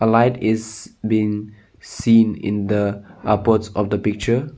white is been seen in the upwards of the picture.